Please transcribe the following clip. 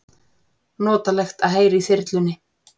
Notalegt að heyra í þyrlunni